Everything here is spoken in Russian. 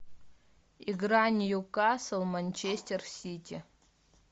игра ньюкасл манчестер сити